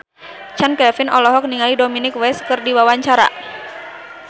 Chand Kelvin olohok ningali Dominic West keur diwawancara